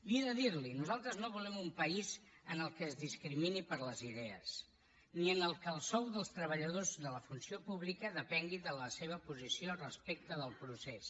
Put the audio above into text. he de dir li ho nosaltres no volem un país en què es discrimini per les idees ni en què el sou dels treballadors de la funció pública depengui de la seva posició respecte del procés